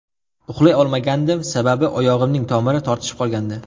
Uxlay olmagandim, sababi oyog‘imning tomiri tortishib qolgandi.